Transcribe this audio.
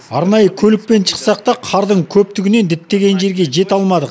арнайы көлікпен шықсақ та қардың көптігінен діттеген жерге жете алмадық